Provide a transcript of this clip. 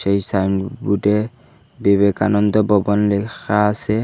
এই সাইনবোর্ডে বিবেকানন্দ ভবন লেখা আসে।